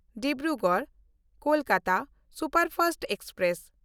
ᱰᱤᱵᱽᱨᱩᱜᱚᱲ–ᱠᱳᱞᱠᱟᱛᱟ superfast express